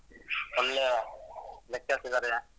ಒಳ್ಳೆ lectures ಇದಾರೆ.